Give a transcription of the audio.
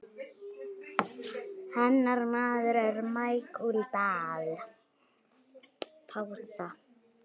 Hennar maður er Michael Dal.